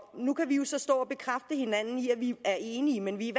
og nu kan vi jo så stå og bekræfte hinanden i at vi er enige men vi